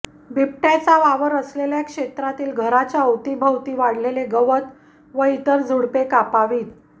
बिबट्याचा वावर असलेल्या क्षेत्रातील घराच्या अवती भोवती वाढलेले गवत व इतर झुडुपे कापावीत